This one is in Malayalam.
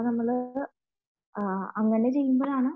നമ്മൾ ചെയ്യുമ്പോഴാണ്